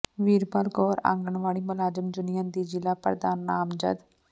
ਵੀਰਪਾਲ ਕੌਰ ਆਂਗਨਵਾੜੀ ਮੁਲਾਜ਼ਮ ਯੂਨੀਅਨ ਦੀ ਜ਼ਿਲ੍ਹਾ ਪ੍ਰਧਾਨ ਨਾਮਜ਼ਦ